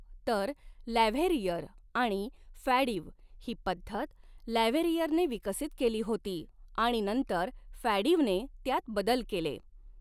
तर लॅव्हेरियर आणि फ़ॅडिव ही पद्धत लॅव्हेरियर ने विकसित केली होती आणि नंतर फ़ॅडिव ने त्यात बदल केले.